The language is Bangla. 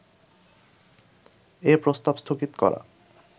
এ প্রস্তাব স্থগিত করা